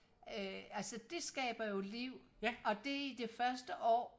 øh altså det skaber jo liv og det i det første år